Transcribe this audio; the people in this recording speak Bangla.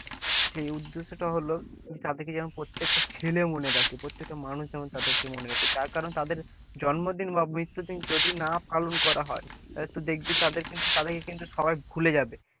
সেই উদ্দেশ্যটা হল তাদেরকে যেন প্রত্যেকটা ছেলে মনে রাখে প্রত্যেকটা মানুষ যেমন তাদের কে মনে রাখে, তার কারণ তাদের জন্মদিন বা মৃত্যু দিন যদি না পালন করা হয়, হয়তো দেখবি তাদেরকে কিন্তু সবাই ভুল যাবে,